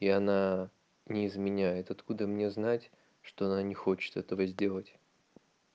и она не изменяет откуда мне знать что она не хочет этого сделать